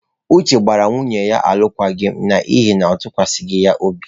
Uche gbara nwunye ya alụkwaghịm n'ihi na ọ tụkwasịghi ya obi.